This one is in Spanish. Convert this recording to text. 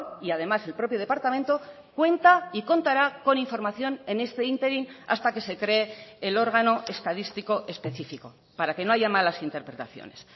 y además el propio departamento cuenta y contará con información en este ínterin hasta que se cree el órgano estadístico específico para que no haya malas interpretaciones